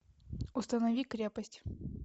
установи крепость